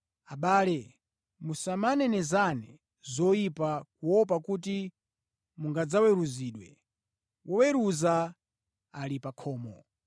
Abale, musamanenezane zoyipa kuopa kuti mungadzaweruzidwe. Woweruza ali pa khomo!